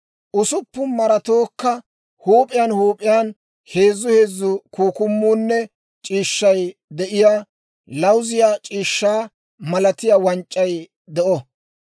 Usuppun maratookka huup'iyaan huup'iyaan heezu heezu kukkumuunne c'iishshay de'iyaa lawuziyaa c'iishshaa malatiyaa wanc'c'ay de'o.